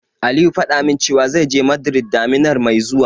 Aliyu faɗa min cewa, zai je Madrid daminar mai zuwa.